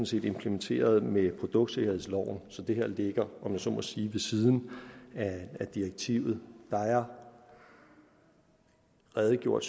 set implementeret med produktsikkerhedsloven så det her ligger om jeg så må sige ved siden af direktivet der er redegjort